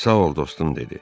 Sağ ol dostum dedi.